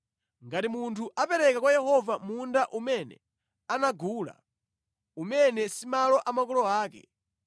“ ‘Ngati munthu apereka kwa Yehova munda umene anagula, umene si malo a makolo ake,